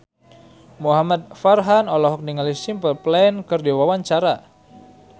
Muhamad Farhan olohok ningali Simple Plan keur diwawancara